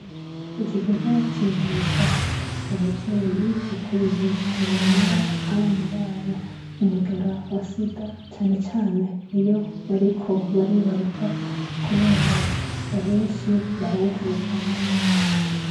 Iki kigo cigisha abavyeyi ukuntu borinda abana babo umugera wa sida cane cane iyo bariko baribaruka kubera abenshi barawuvukana.